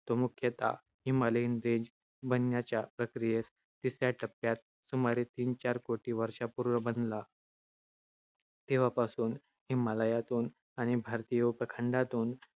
तो मुख्यतः हिमालयीन रेंज बनण्याच्या प्रक्रियेच्या तिसऱ्या टप्प्यात सुमारे तीन-चार कोटी वर्षांपूर्वी बनला. तेव्हापासून हिमालयातून आणि भारतीय उपखंडातून